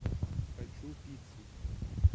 хочу пиццу